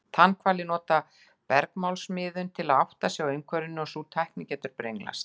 Tannhvalir nota bergmálsmiðun til að átta sig á umhverfinu og sú tækni getur brenglast.